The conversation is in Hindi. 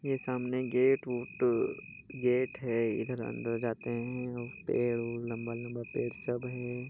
ये सामने गेट उट गेट है इधर अंदर जाते है पेड़ ह लंबा लंबा पेड़ सब है।